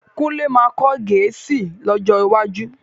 Kúnlé máa kọ́ Gẹ̀ẹ́sì lọ́jọ́ iwájú